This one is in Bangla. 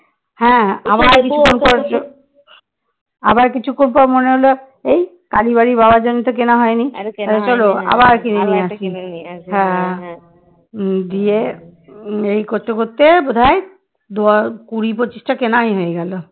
দিয়ে এই করতে করতে বোধহয় দ কুরি পঁচিশটা কেনাই হয়ে গেল